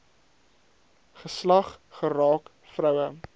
geslag geraak vroue